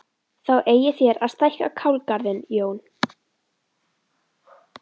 Þá eigið þér að stækka kálgarðinn Jón!